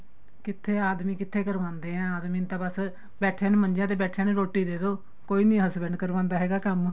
ਕਿੱਥੇ ਆਦਮੀ ਕਿੱਥੇ ਕਰਵਾਉਂਦੇ ਏ ਆਦਮੀ ਤਾਂ ਬੱਸ ਬੈਠਿਆ ਨੂੰ ਮੰਜਿਆ ਤੇ ਬੈਠੇ ਰੋਟੀ ਦੇਦੋ ਕੋਈ ਨੀਂ husband ਕਰਵਾਉਂਦਾ ਹੈਗਾ ਕੰਮ